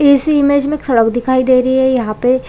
इस इमेज में एक सड़क दिखाई दे रही है यहाँ पे